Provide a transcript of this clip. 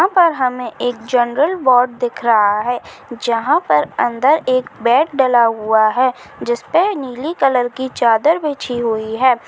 यहाँ पर हमे एक जनरल वार्ड दिख रहा है जहाँ पर अंदर एक बेड डला हुआ हैं जिस पर नीली कलर कि चादर बिछी हुई है।